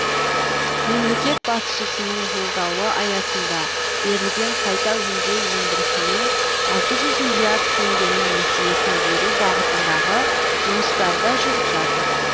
мемлекет басшысының жолдауы аясында берілген қайта өңдеу өндірісіне алты жүз миллиард теңгенің несиесін беру бағытындағы жұмыстар да жүріп жатыр